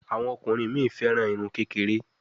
Àwọn ọkùnrin mí féràn Irun kékeré.